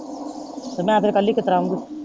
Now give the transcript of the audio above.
ਤੇ ਮੈਂ ਫੇਰ ਕੱਲੀ ਕਿਤੜਾ ਆਉਂਗੀ।